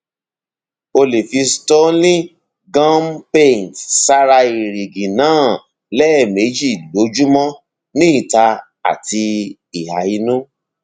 o lè fi stolin gum paint sára èrìgì náà lẹẹmejì lójúmọ ní ìta àti ìhà inú